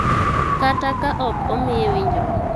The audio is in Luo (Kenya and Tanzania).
Kata ka ok omiye winjruok.